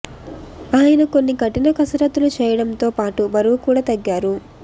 ఆయన కొన్ని కఠిన కసరత్తులు చేయడంతో పాటు బరువు కూడా తగ్గారు